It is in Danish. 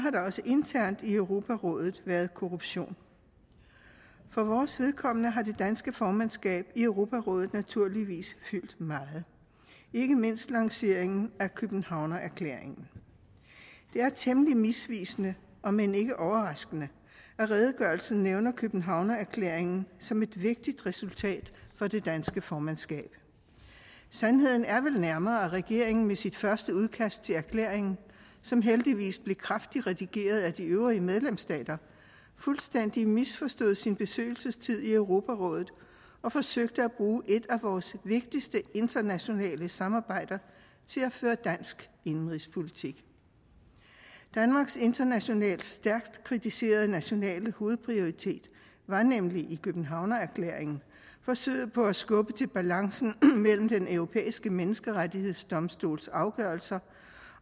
også internt i europarådet været korruption for vores vedkommende har det danske formandskab i europarådet naturligvis fyldt meget ikke mindst lanceringen af københavnerklæringen det er temmelig misvisende om end ikke overraskende at redegørelsen nævner københavnerklæringen som et vigtigt resultat for det danske formandskab sandheden er vel nærmere at regeringen med sit første udkast til erklæringen som heldigvis blev kraftigt redigeret af de øvrige medlemsstater fuldstændig misforstod sin besøgelsestid i europarådet og forsøgte at bruge et af vores vigtigste internationale samarbejder til at føre dansk indenrigspolitik danmarks internationalt stærkt kritiserede nationale hovedprioritet var nemlig i københavnerklæringen forsøget på at skubbe til balancen mellem den europæiske menneskerettighedsdomstols afgørelser